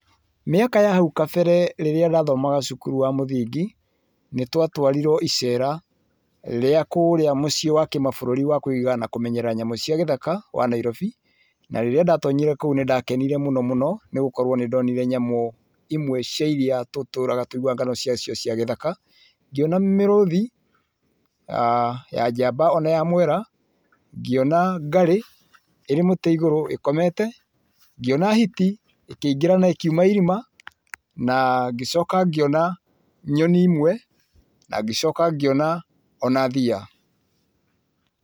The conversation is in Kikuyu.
Mĩaka ya hau kabere rĩrĩa ndathomaga cukuru wa mũthingi, nĩ twatwarirwo icera, rĩa kũria mũcii wa kĩmabũrũri wa kũiga na kũmenyerera nyamũ cia gĩthaka wa Nairobi, na rĩrĩa ndatonyire kũu nĩndakenire mũno mũno, nĩgũkorwo nĩ ndonire nyamũ imwe cia iria tũtũraga tũiguaga ng'ano cia cio cia gĩthaka, ngiona mĩrũthi ya njamba ona ya mwera, ngiona ngarĩ,, iri mũtĩ iguru ĩkomete, ngiona hiti, ĩkĩingira na ĩkiuma irima ngĩcoka ngĩona nyoni imwe na ngĩcoka ngĩona ona thia.